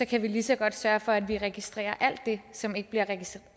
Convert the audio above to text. kan vi lige så godt sørge for at vi registrerer alt det som ikke bliver